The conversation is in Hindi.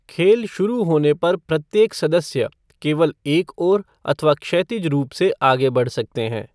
खेल शुरू होने पर प्रत्येक सदस्य केवल एक ओर अथवा क्षैतिज रूप से आगे बढ़ सकते हैं।